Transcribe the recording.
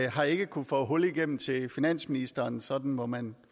har ikke kunnet få hul igennem til finansministeren sådan må man